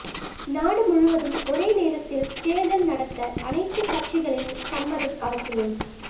நாடு முழுவதும் ஒரே நேரத்தில் தோ்தல் நடத்த அனைத்து கட்சிகளின் சம்மதம் அவசியம்